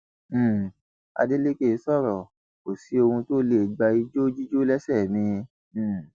um adeleke sọrọ kò sí ohun tó lè gba ijó jíjó lẹsẹ mi um